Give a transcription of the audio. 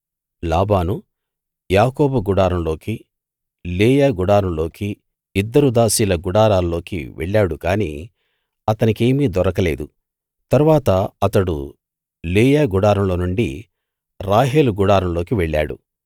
లాబాను యాకోబు గుడారంలోకీ లేయా గుడారంలోకీ ఇద్దరు దాసీల గుడారాల్లోకీ వెళ్ళాడు గాని అతనికేమీ దొరకలేదు తరువాత అతడు లేయా గుడారంలో నుండి రాహేలు గుడారంలోకి వెళ్ళాడు